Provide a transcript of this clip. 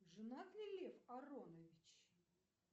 женат ли лев аронович